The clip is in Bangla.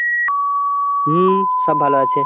হুম সব ভালো আছে,